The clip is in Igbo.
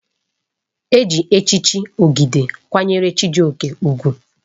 Eji echichi Ogide kwanyere Chijioke ugwu.